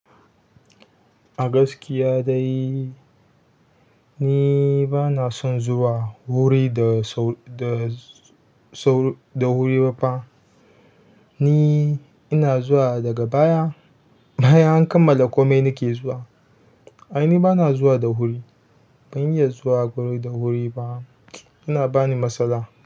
Agaskiya dai ni bana son zuwa wuri da sau, da sau, da wuri ba fa. Ni ina zuwa daga baya, baya an kammala komai nake zuwa. Aini bana zuwa da wuri. Ban iya zuwa guri da wuri ba. Yana bani matsala.